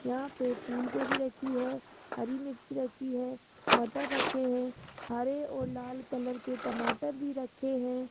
यहां पे फूल गोभी रखी है हरी मिर्च रखी है मटर रखे है हरे और लाल कलर के टमाटर भी रखे हैं।